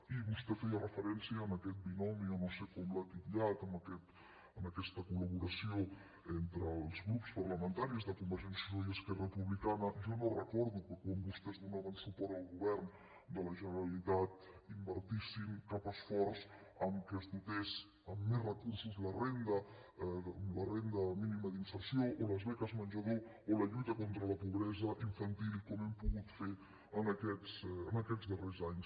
i vostè feia referència a aquest binomi o no sé com l’ha titllat aquesta col·laboració entre els grups parlamentaris de convergència i unió i esquerra republicana jo no recordo que quan vostès donaven suport al govern de la generalitat invertissin cap esforç perquè es dotés amb més recursos la renda mínima d’inserció o les beques menjador o la lluita contra la pobresa infantil com hem pogut fer en aquests darrers anys